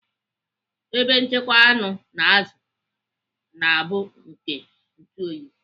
Ebe nchekwa anụ na azụ na-abụ nke ntuoyi.